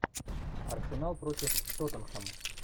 арсенал против тоттенхэм